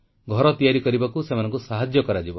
ଘର ତିଆରି କରିବାକୁ ସେମାନଙ୍କୁ ସାହାଯ୍ୟ କରାଯିବ